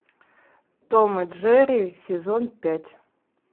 том и джерри сезон пять